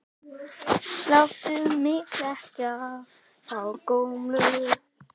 Láttu mig þekkja þá gömlu!